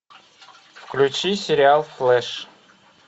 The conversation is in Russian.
включи сериал флэш